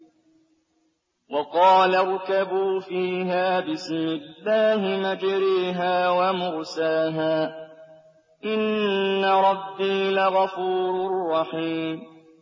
۞ وَقَالَ ارْكَبُوا فِيهَا بِسْمِ اللَّهِ مَجْرَاهَا وَمُرْسَاهَا ۚ إِنَّ رَبِّي لَغَفُورٌ رَّحِيمٌ